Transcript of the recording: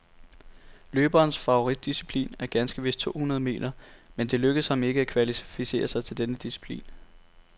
Løberens favoritdisciplin er ganske vist to hundrede meter, men det lykkedes ham ikke at kvalificere sig til denne disciplin.